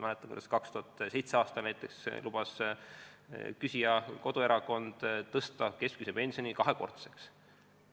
Ma mäletan, et näiteks 2007. aastal lubas küsija koduerakond tõsta keskmise pensioni kahekordseks.